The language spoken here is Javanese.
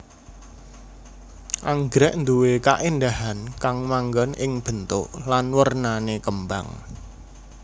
Anggrèk nduwé kaéndahan kang manggon ing bentuk lan wernané kembang